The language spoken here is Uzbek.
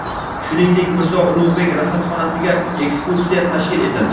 shuningdek Mirzo Ulug‘bek rasadxonasiga ekskursiya tashkil etildi.